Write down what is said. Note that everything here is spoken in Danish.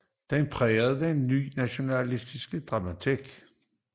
De prægede den ny nationalromantiske dramatik